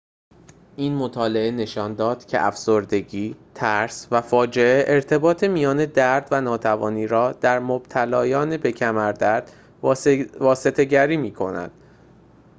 این مطالعه نشان داد که افسردگی ترس و فاجعه ارتباط میان درد و ناتوانی را در مبتلایان به کمردرد واسطه گری میکند